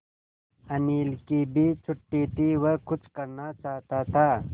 अनिल की भी छुट्टी थी वह कुछ करना चाहता था